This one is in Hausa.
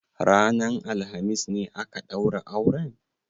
Ranan alhamis ne aka ɗaura auren?